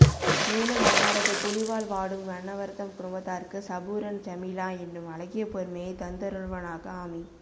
மேலும் அன்னாரது புலிவால் வாடும் அன்னவர்தம் குடும்பத்தாருக்கு சபுரன் ஜமீலா என்னும் அழகிய பொறுமையை தந்தருள்வானாக ஆமீ